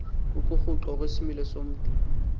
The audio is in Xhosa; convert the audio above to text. ukuguquka kwesimilo somntu